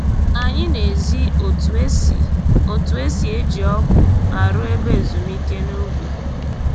Anyị na-ezi otu e si otu e si eji ọgụ arụ ebe ezumike n'ubi